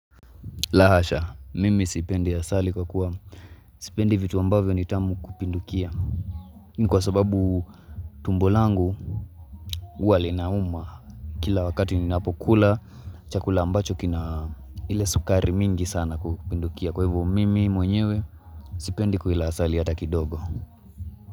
La hasha, mimi sipendi ya asali kwa kuwa. Sipendi vitu ambavyo ni tamu kupindukia. Kwa sababu tumbo langu, huwa linauma. Kila wakati ninapokula, chakula ambacho kina ile sukari mingi sana kupindukia. Kwa hivyo mimi mwenyewe, sipendi kuila asali hata kidogo.